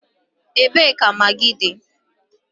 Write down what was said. Ebee ka magịị dị?